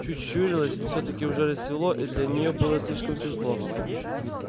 чуть щурилась всё-таки уже рассвело и для неё было слишком светло